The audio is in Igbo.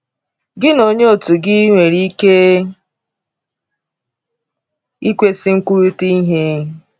Gị na onye òtù gị nwere ike ịkwesị ikwurịta ihe.